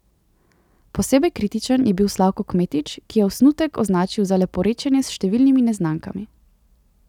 Posebej kritičen je bil Slavko Kmetič, ki je osnutek označil za leporečenje s številnimi neznankami.